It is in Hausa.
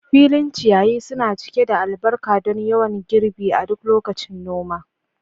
filin ciyayi suna cike da albarka don yawan girbi a duk lokacin noma.